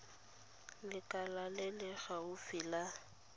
lekala le le gaufi la